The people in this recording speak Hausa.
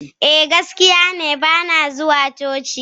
eh, gaskiya ne ba na zuwa coci